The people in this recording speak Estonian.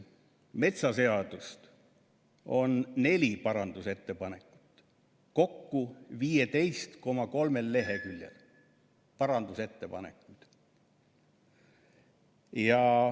Metsaseadust – on neli parandusettepanekut kokku 15,3 leheküljel.